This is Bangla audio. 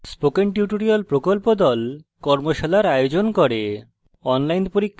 spoken tutorial প্রকল্প the কর্মশালার আয়োজন করে